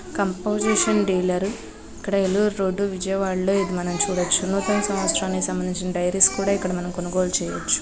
Composition dealer ఇక్కడ Eluru road Vijayawada లో ఇది మనం చూడొచ్చు. నూతన సంవత్సరానికి సంబంధించిన డైరీస్ కూడా ఇక్కడ మనం కొనుగోలు చేయవచ్చు.